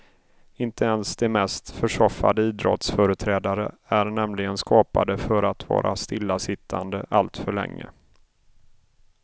Inte ens de mest försoffade idrottsföreträdare är nämligen skapade för att vara stillasittande alltför länge.